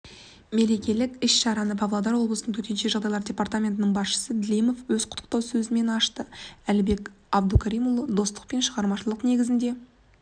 мерекелік іс-шараны павлодар облысының төтенше жағдайлар департаментінің басшысы длимов өз құттықтау сөзімен ашты әлібек абдукаримұлы достық пен шығармашылықтың негізі аға буын